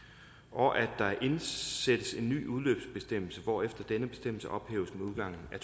og at der indsættes en ny udløbsbestemmelse hvorefter denne bestemmelse ophæves med udgangen af